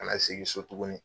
Kana segin so tugunni.